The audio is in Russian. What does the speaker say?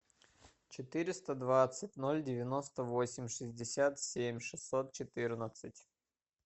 четыреста двадцать ноль девяносто восемь шестьдесят семь шестьсот четырнадцать